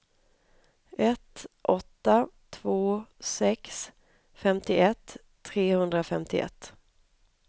ett åtta två sex femtioett trehundrafemtioett